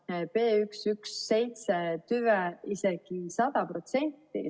Saaremaal oli seda B117 tüve isegi 100%.